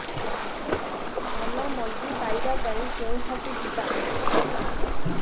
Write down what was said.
ଭଲ ମଞ୍ଜି ପାଇବା ପାଇଁ କେଉଁଠାକୁ ଯିବା